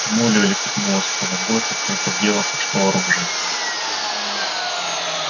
молли улепетнула с поля боя как только в дело пошло оружие